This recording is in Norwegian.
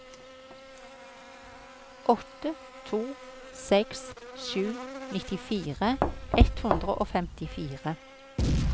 åtte to seks sju nittifire ett hundre og femtifire